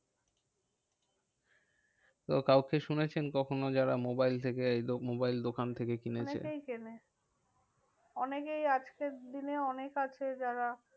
তো কাউকে শুনেছেন কখনো যারা মোবাইল থেকে লোক মোবাইল দোকান থেকে কিনেছেন? অনেকেই কেনে অনেকেই আজকের দিনে অনেকে আছে যারা